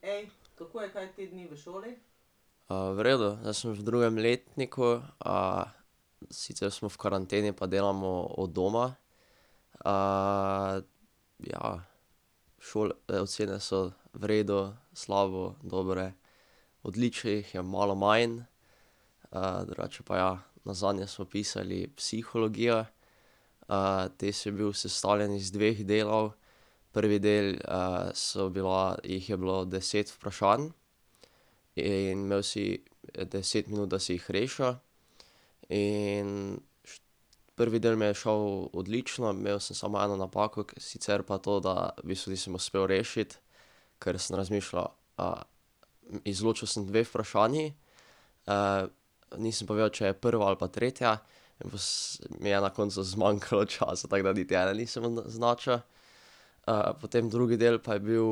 v redu, zdaj sem v drugem letniku, sicer smo v karanteni pa delamo od doma. ja. ocene so v redu, slabo, dobre, odličnih je malo manj, drugače pa ja. Nazadnje smo pisali psihologijo, test je bil sestavljen iz dveh delov. Prvi del so bila, jih je bilo deset vprašanj in imel si deset minut, da si jih rešil. In prvi del mi je šel odlično, imel sem samo eno napako, ki sicer pa to, da v bistvu nisem uspel rešiti, ker sem razmišljal, izločil sem dve vprašanji, nisem pa vedel, če je prva ali pa tretja, mi je na koncu zmanjkalo časa, tako da niti ene nisem označil. potem drugi del pa je bil,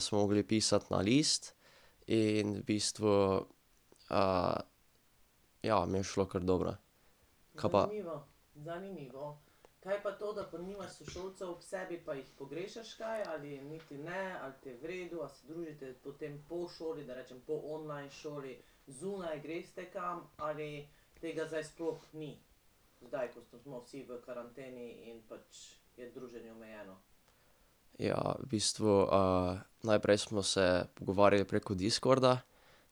smo mogli pisati na list in v bistvu ja, mi je šlo kar dobro. Kaj pa ... Ja v bistvu najprej smo se pogovarjali preko Discorda,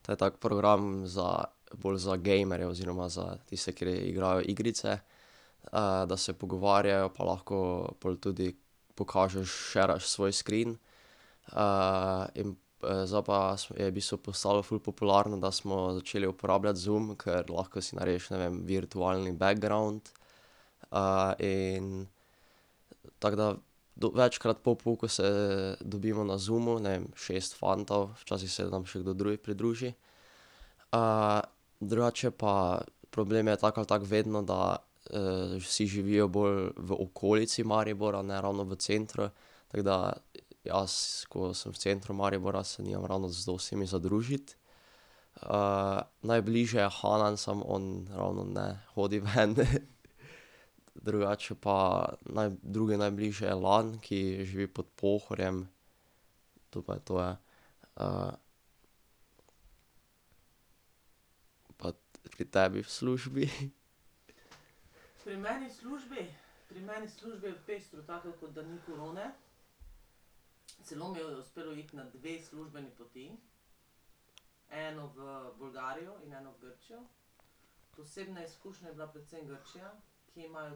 to je tak program za, bolj za gejmerje oziroma za tiste, kateri igrajo igrice, da se pogovarjajo pa lahko pol tudi pokažeš, sharaš svoj screen. in, zdaj pa je v bistvu postalo ful popularno, da smo začeli uporabljati Zoom, ker lahko si narediš, ne vem, virtualni background in ... Tako da, večkrat po pouku se dobimo na Zoomu, ne vem, šest fantov, včasih se nam še kdo drugi pridruži. drugače pa problem je tako ali tako vedno, da vsi živijo bolj v okolici Maribora, ne ravno v centru, tako da jaz, ko sem v centru Maribora, se nimam ravno z dostimi za družiti. najbližje je Hanan, samo on ravno ne hodi ven. Drugače pa drugi najbližji je Lan, ki živi pod Pohorjem, to pa je to, ja. ... Pa pri tebi v službi? Ja,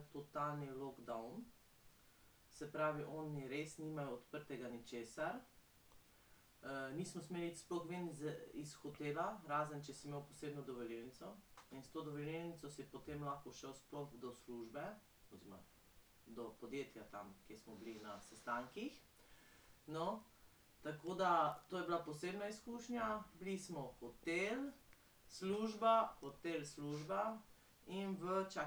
ja,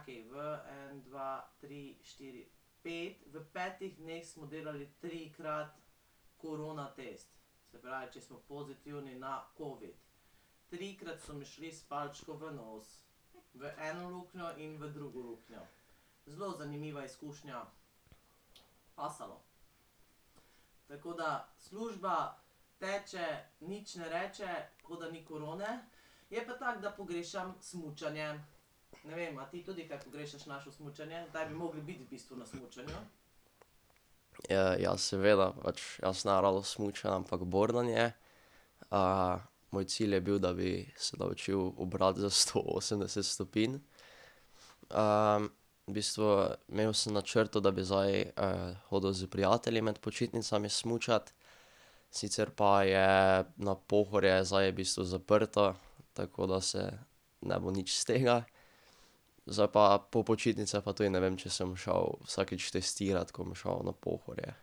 seveda pač, jaz ne ravno smučam, ampak bordanje. moj cilj je bil, da bi se naučili obrat za sto osemdeset stopinj. v bistvu imel sem v načrtu, da bi zdaj hodil s prijatelji med počitnicami smučat, sicer pa je na Pohorje zdaj v bistvu zaprto, tako da se ne bo nič iz tega. Zdaj pa po počitnicah pa tudi ne vem, če se bom šel vsakič testirat, ko bom šel na Pohorje.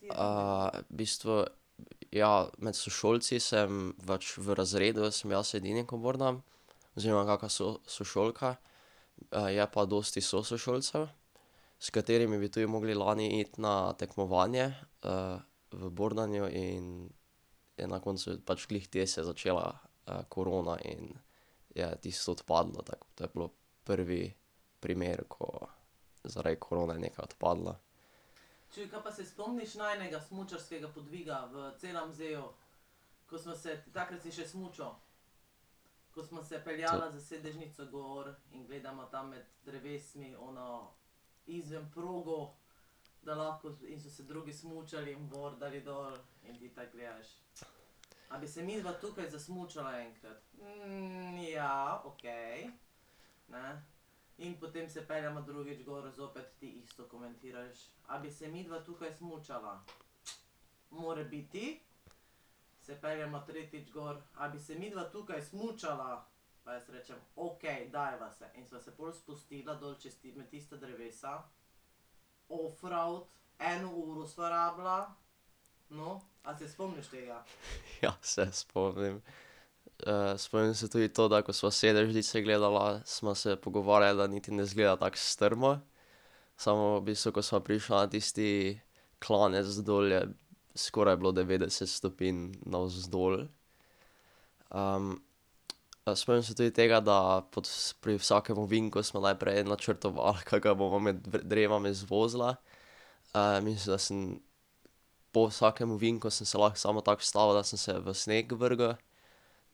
v bistvu, ja, med sošolci sem pač v razredu sem jaz edini, ko bordam, oziroma kakšna sošolka. Je pa dosti sošolcev, s katerimi bi tudi mogli lani iti na tekmovanje v bordanju in je na koncu pač glih te se začela korona in je tisto odpadlo, tako. To je bilo prvi primer, ko zaradi korone nekaj odpadlo. Ja, se spomnim. spomnim se tudi to, da ko sva s sedežnice gledala, sva se pogovarjala, da niti ne izgleda tako strmo. Samo v bistvu, ko sva prišla na tisti klanec dol, je skoraj bilo devetdeset stopinj navzdol. spomnim se tudi tega, da pod, pri vsakem ovinku sva najprej načrtovala, kako ga bova med drevesi zvozila. mislim, da sem po vsakem ovinku sem se lahko samo tako ustavil, da sem v sneg vrgel,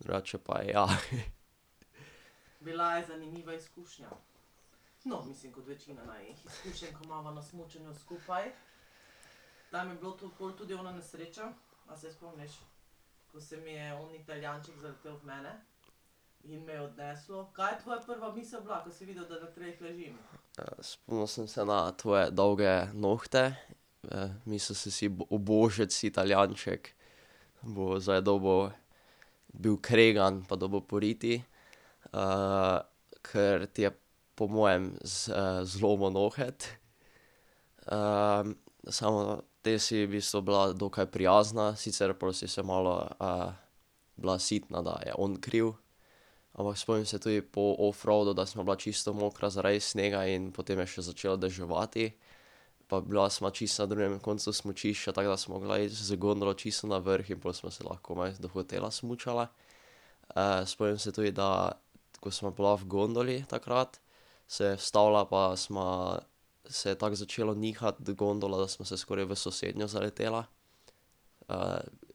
drugače pa ja. Spomnil sem se na tvoje dolge nohte, mislil sem si: "Ubožec, Italijanček. Bo zdaj dobil, bil kregan pa dobil po riti, ker ti je po mojem zlomil noht." samo te si v bistvu bila dokaj prijazna, sicer pol si se malo bila sitna, da je on kriv. Ampak spomnim se tudi po offroadu, da sva bila čisto mokra zaradi snega in potem je še začelo deževati, pa bila sva čisto na drugem koncu smučišča, tako da sva mogla z gondolo čisto na vrh in pol sva se lahko komaj do hotela smučala. spomnim se tudi, da ko sva bila v gondoli takrat, se je ustavila pa sva, se je tako začela nihati gondola, da sva se skoraj v sosednjo zaletela.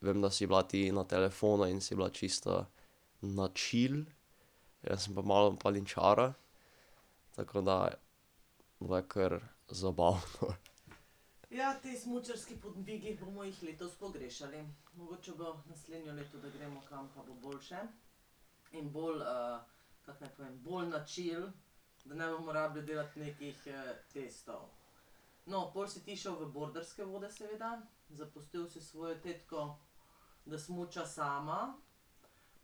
vem, da si bila ti na telefonu in si bila čisto na chill, jaz sem pa malo paničaril, tako da,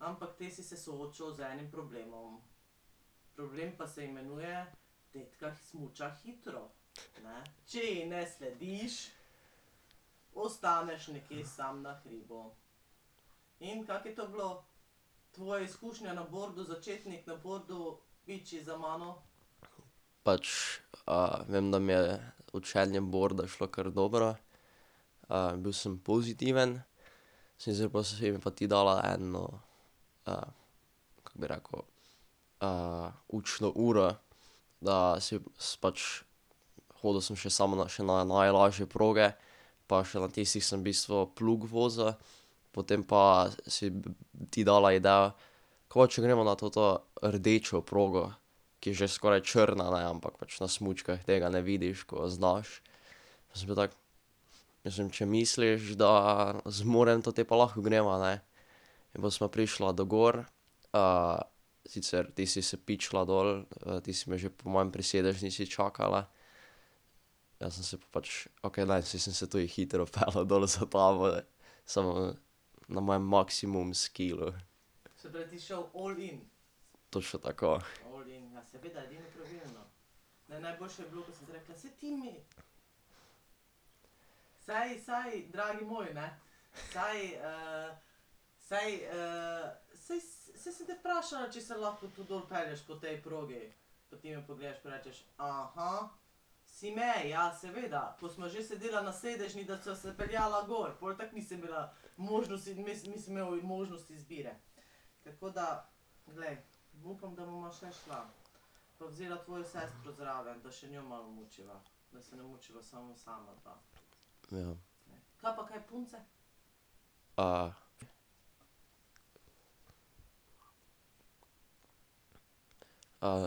bilo je kar zabavno. Pač, vem, da mi je učenje borda šlo kar dobro. bil sem pozitiven, sem si, pa si mi pa ti dala eno kako bi rekel, učno uro. Da pač, hodil sem še samo na najlažje proge pa še na tistih sem v bistvu plug vozil, potem pa si ti dala idejo: "Kaj pa če gremo na toto rdečo progo?" Ki je že skoraj črna, ne, ampak pač na smučkah tega ne vidiš, ko znaš. Pa sem bil tako: "Mislim, če misliš, da zmorem to, potem pa lahko greva, ne." In pol sva prišla do gor, sicer ti si se pičila dol, ti se me že po moje pri sedežnici čakala. Jaz sem se pa pač, okej, ne, saj sem se tudi hitro peljal dol za tabo, samo na mojem maksimum skillu. Točno tako. Ja. ...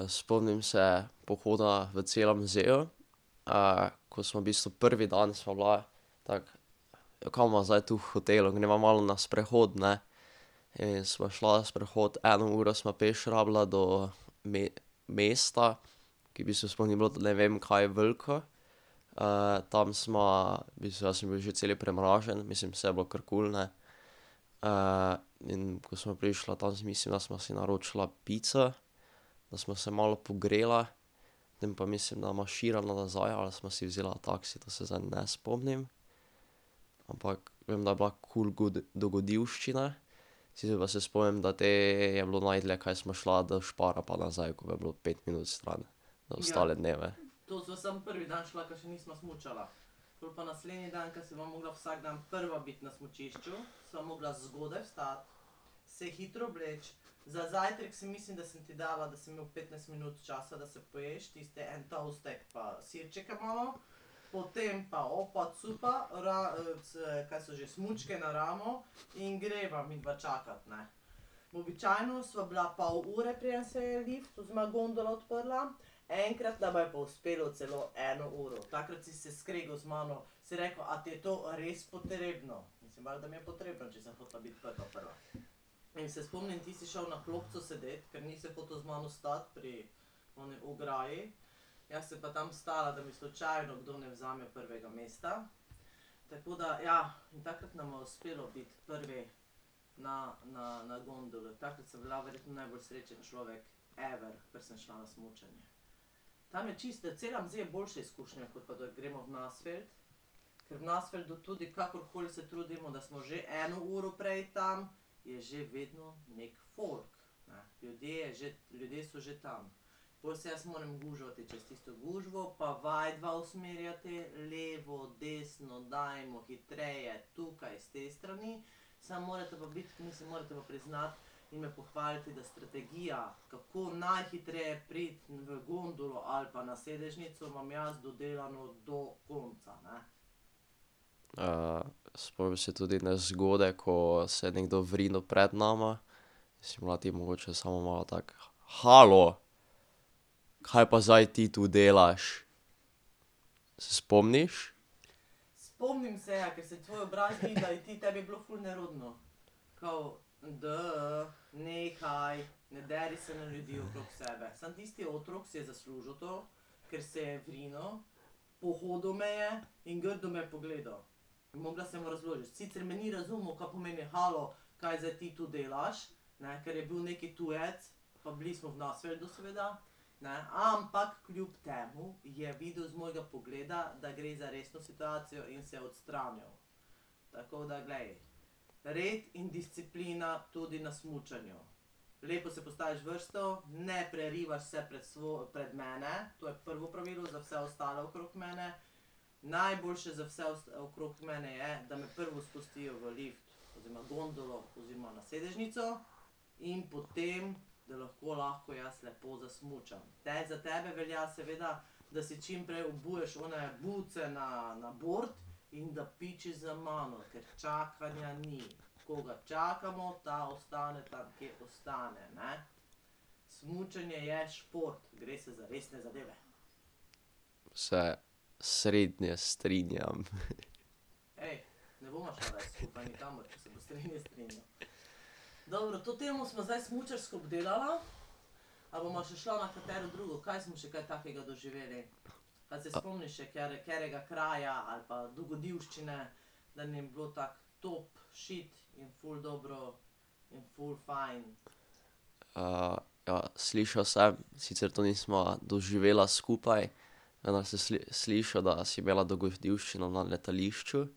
spomnim se pohoda v, ko smo v bistvu, prvi dan sva bila tako, kaj bova zdaj tu v hotelu, greva malo na sprehod, ne. In sva šla sprehod, eno uro sva peš rabila do mesta, ki v bistvu sploh ni bilo ne vem kaj veliko. tam sva, v bistvu jaz sem bil že cel premražen, mislim, saj je bilo kar kul, ne. in ko sva prišla, tam si mislim, da sva si naročila pico, da sva se malo pogrela. Potem pa mislim, da marširala nazaj ali sva si vzela taksi, to se zdaj ne spomnim. Ampak vem, da je bila kul good dogodivščina, sicer pa se spomnim, da te je bilo najdalje, kaj sva šla do Spara pa nazaj, ko je bilo pet minut stran, ostale dneve. spomnim se tudi nezgode, ko se nekdo vrinil pred nama, si bila ti mogoče samo malo tako: "Halo, kaj pa zdaj ti tu delaš?" Se spomniš? Se srednje strinjam. ja, slišal sem, sicer to nisva doživela skupaj, se slišal, da si imela dogodivščino na letališču.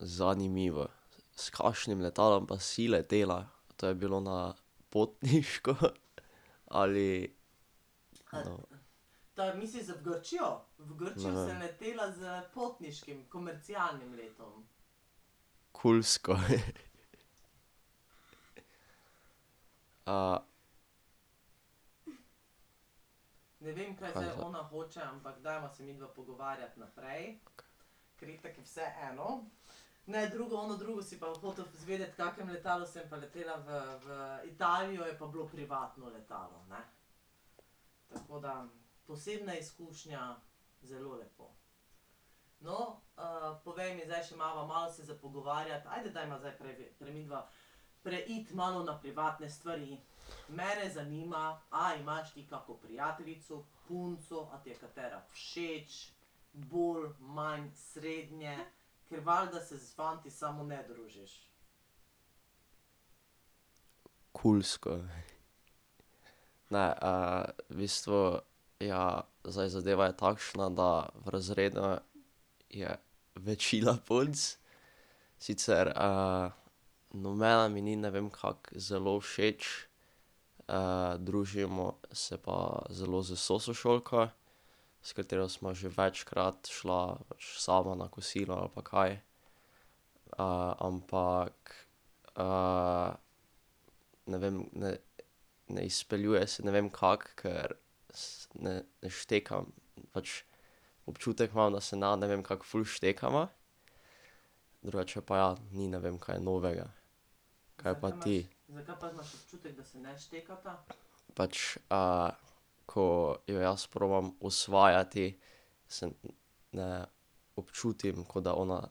zanimivo. S kakšnim letalom pa si letela? To je bilo na potniško ali? Kulsko. ... Kulsko. Ne, v bistvu, ja, zdaj zadeva je takšna, da v je večina punc, sicer nobena mi ni ne vem kako zelo všeč. družimo se pa zelo z sošolko, s katero sva že večkrat šla sama na kosilo ali pa kaj. ampak ne vem, ne, ne izpeljuje se ne vem kako, ker ne štekam, pač občutek imam, da se ne ne vem kako ful štekava, drugače pa ja, ni ne vem kaj novega. Kaj pa ti? Pač ko jo jaz probam osvajati, se ne občutim, ko da ona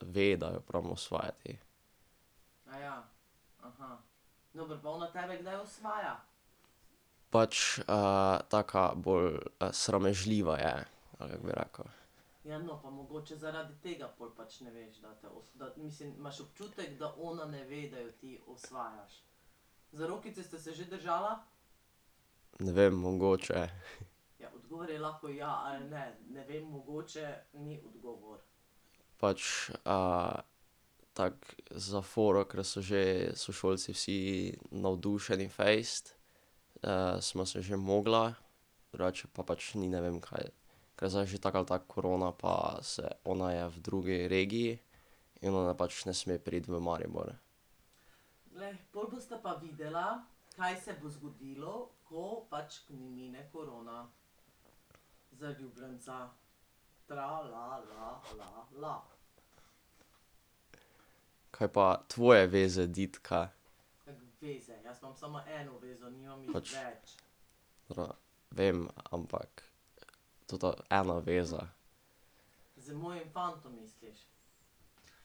ve, da jo probam osvajati. Pač taka bolj sramežljiva je, ali kako bi rekel. Ne vem, mogoče. Pač tako za foro, ker so že sošolci vsi navdušeni fejst, smo se že mogla, drugače pa pač ni ne vem kaj. Kaj zdaj že tako ali tako korona pa se, ona je v drugi regiji in ona pač ne sme priti v Maribor. Kaj pa tvoje veze, Ditka? Pač ... vem, ampak ... Tota ena veza.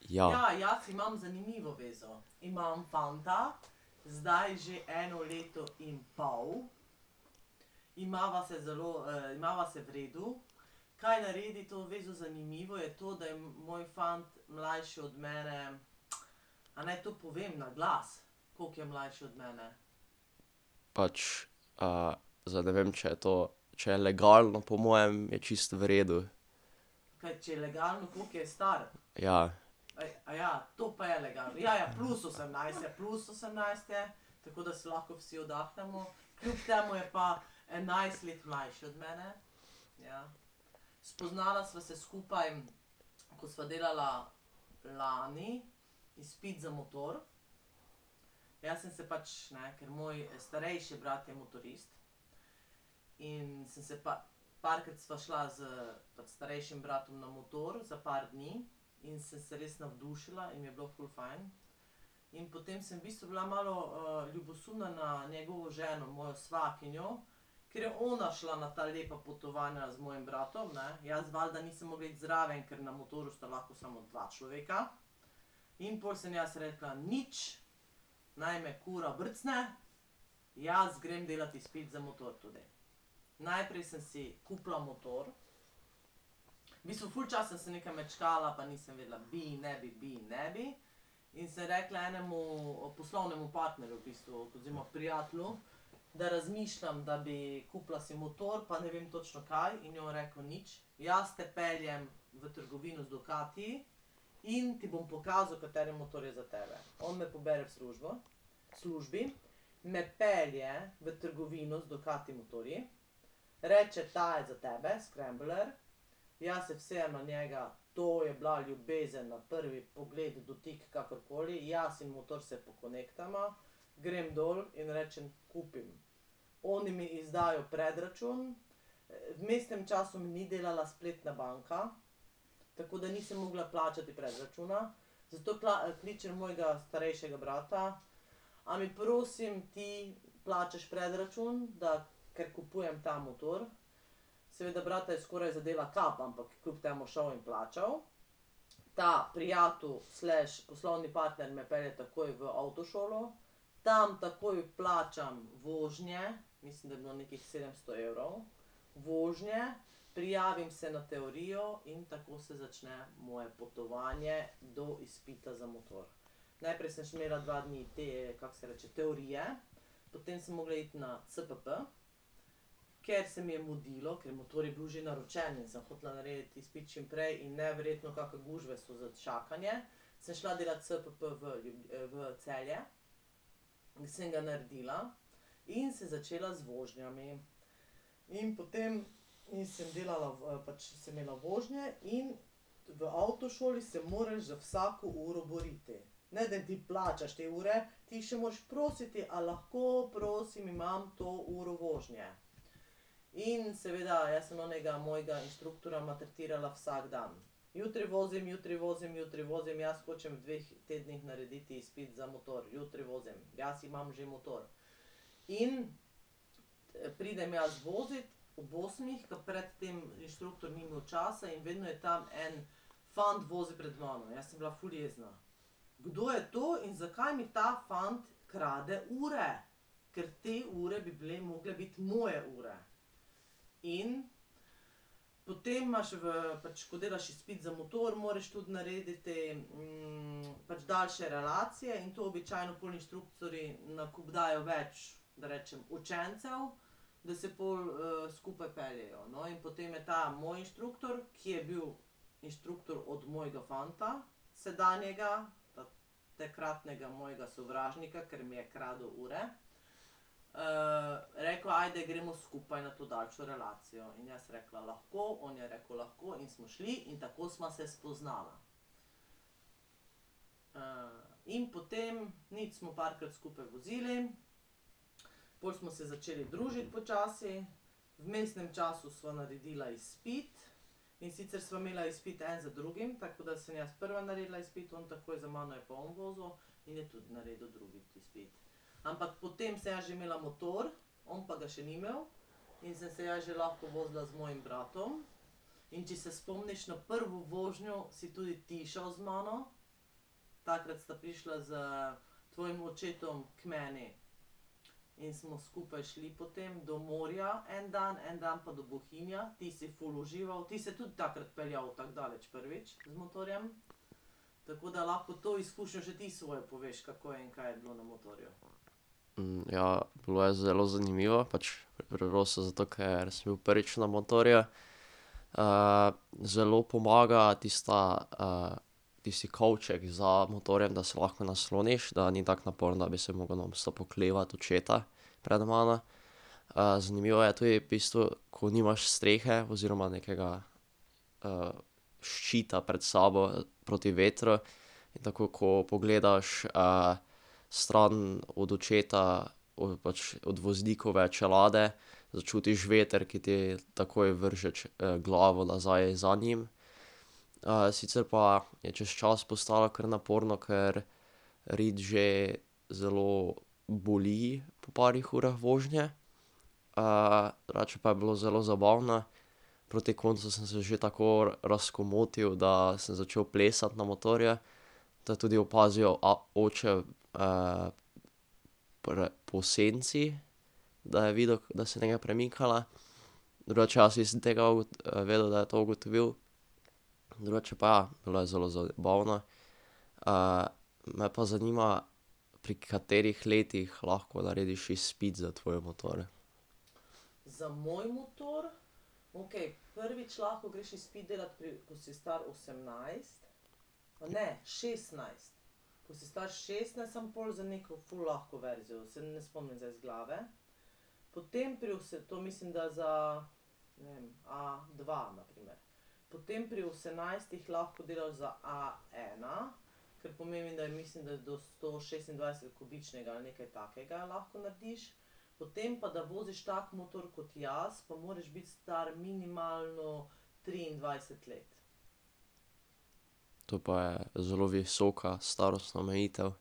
Ja. Pač, zdaj ne vem, če je to, če je legalno, po mojem je čisto v redu. Ja. ja, bilo je zelo zanimivo, pač Roso zato, ker sem bil prvič na motorju. zelo pomaga tista tisti kovček za motorjem, da se lahko nasloniš, da ni tako naporno, bi se mogel nonstop oklevati očeta pred mano. zanimivo je tudi v bistvu, ko nimaš strehe oziroma nekega ščita pred sabo, proti vetru in takoj, ko pogledaš stran od očeta, pač od voznikove čelade, začutiš veter, ki ti takoj vrže glavo nazaj za njim. sicer pa je čez čas postalo kar naporno, ker rit že zelo boli po parih urah vožnje. drugače pa je bilo zelo zabavno. Proti koncu sem se že tako razkomotil, da sem začel plesati na motorju, to je tudi opazil oče po senci, da je videl, da se nekaj premikala, drugače jaz nisem tega vedel, da je to ugotovil. Drugače pa ja, bilo je zelo zabavno. me pa zanima, pri katerih letih lahko narediš izpit za tvoj motor. To pa je zelo visoka starostna omejitev.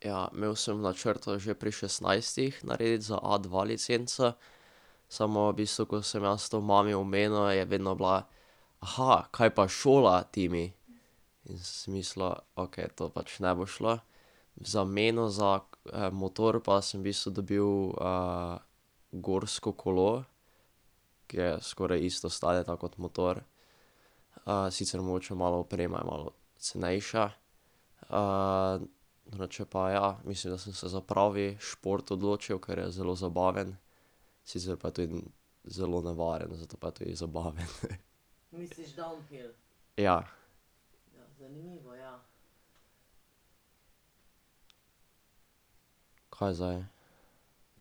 Ja, imel sem v načrtu že pri šestnajstih narediti za a dva licenco, samo v bistvu, ko sem jaz to mami omenil, je vedno bila: kaj pa šola, Timi?" In sem si mislil: "Okej, to pač ne bo šlo." V zameno za motor pa sem v bistvu dobil gorsko kolo, ki je skoraj isto stane, tako kot motor. sicer mogoče malo oprema je malo cenejša. drugače pa ja, mislim, da sem se za pravi šport odločil, ker je zelo zabaven, sicer pa tudi ni zelo nevaren, zato pa je tudi zabaven. Ja. Kaj zdaj?